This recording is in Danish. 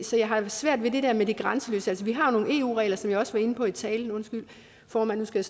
så jeg har svært ved det der med det grænseløse vi har nogle eu regler som jeg også var inde på i talen undskyld formand nu skal